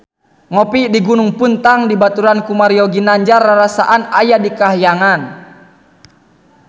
Ngopi di Gunung Puntang dibaturan ku Mario Ginanjar rarasaan aya di kahyangan